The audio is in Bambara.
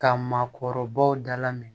Ka maakɔrɔbaw dalamɛn